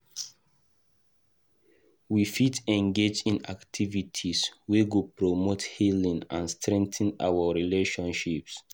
We fit engage in activities wey go promote healing and strengthen our relationships.